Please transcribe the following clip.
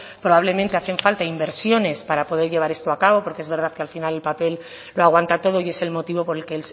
probablemente hacen falta inversiones para poder llevar esto a cabo porque es verdad que al final el papel lo aguanta todo y es el motivo por el que